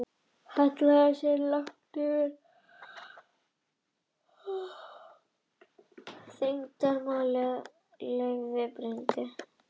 Hallaði sér yfir handriðið eins langt og þyngdarlögmálið leyfði og brýndi raustina.